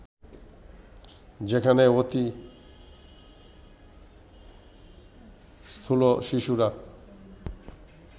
যেখানে অতি স্থূল শিশুরা